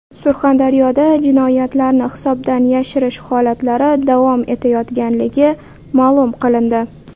Surxondaryoda jinoyatlarni hisobdan yashirish holatlari davom etayotganligi ma’lum qilindi.